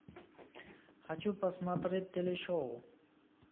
хочу посмотреть телешоу